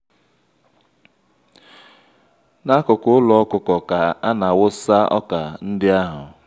n'akụkụ ụlọ ọkụkọ ka ana-awụsa ọkà ndị ahụ.